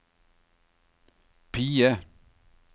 PIE